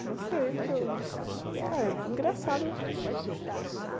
Ah, não sei, porque eu... Ah, é engraçado, né?